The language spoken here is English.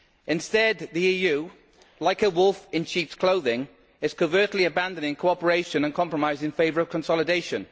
Instead the EU, like a wolf in sheep's clothing, is covertly abandoning cooperation and compromise in favour of consolidation.